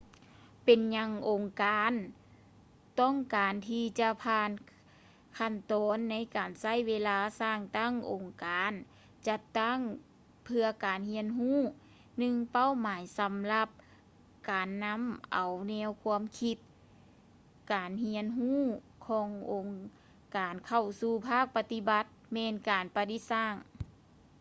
ເປັນຫຍັງອົງການຕ້ອງການທີ່ຈະຜ່ານຂັ້ນຕອນໃນການໃຊ້ເວລາສ້າງຕັ້ງອົງການຈັດຕັ້ງເພື່ອການຮຽນຮູ້ ໜຶ່ງເປົ້າໝາຍສຳລັບການນຳເອົາແນວຄວາມຄິດການຮຽນຮູ້ຂອງອົງການເຂົ້າສູ່ພາກປະຕິບັດແມ່ນການປະດິດສ້າງ